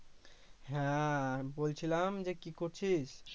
হ্যা বলছিলাম যে কি করছিস?